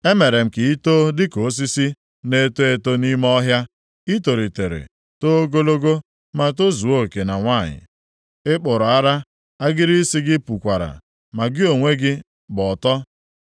Emere m ka ị too dịka osisi na-eto eto nʼime ọhịa. I tolitere, too ogologo ma tozuo oke na nwanyị, ị kpụrụ ara, agịrị isi gị pukwara, ma gị onwe gị gba ọtọ.